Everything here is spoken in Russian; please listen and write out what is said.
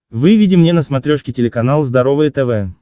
выведи мне на смотрешке телеканал здоровое тв